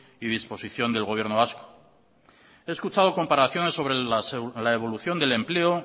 y disposición del gobierno vasco he escuchado comparaciones sobre la evolución del empleo